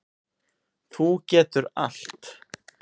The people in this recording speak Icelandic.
Þú getur allt.